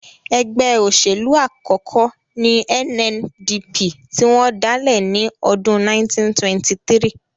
Ẹgbẹ́ òṣèlú àkọ́kọ́ ní NNDP tí wọ́n dálẹ̀ ní ọdún 1923